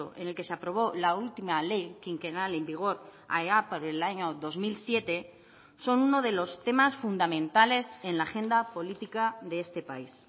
en el que se aprobó la última ley quinquenal en vigor allá por el año dos mil siete son uno de los temas fundamentales en la agenda política de este país